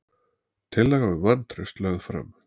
Tillaga um vantraust lögð fram